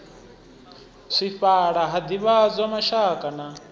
swifhala ha divhadzwa mashaka na